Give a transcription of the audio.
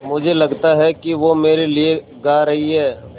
मुझे लगता है कि वो मेरे लिये गा रहीं हैँ